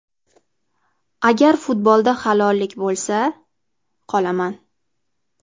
Agar futbolda halollik bo‘lsa, qolaman.